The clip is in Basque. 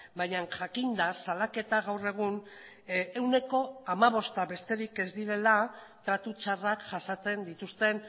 baina jakinda salaketa gaur egun ehuneko hamabosta besterik ez direla tratu txarrak jasaten dituzten